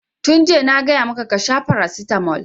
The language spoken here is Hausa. Tun jiya na gaya maka ka sha paracetamol!